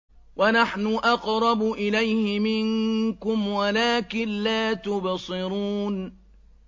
وَنَحْنُ أَقْرَبُ إِلَيْهِ مِنكُمْ وَلَٰكِن لَّا تُبْصِرُونَ